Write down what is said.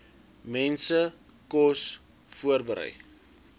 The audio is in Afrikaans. mense kos voorberei